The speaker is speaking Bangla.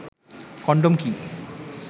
কনডম কি